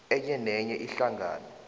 enye nenye ihlangano